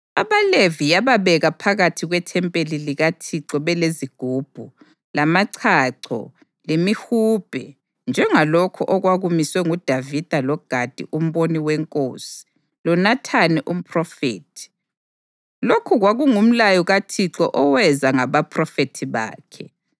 AbaLevi yababeka phakathi kwethempeli likaThixo belezigubhu, lamachacho lemihubhe njengalokho okwakumiswe nguDavida loGadi umboni wenkosi loNathani umphrofethi; lokhu kwakungumlayo kaThixo oweza ngabaphrofethi bakhe.